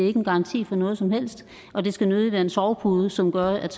er en garanti for noget som helst og det skal nødig være en sovepude som gør at